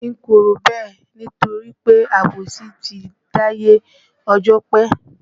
N kò rò bẹ́ẹ̀ nítorí pé àbòsí ti dáyé ọjọ́ pé